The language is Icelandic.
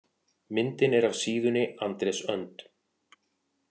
Myndin er af síðunni Andrés Önd.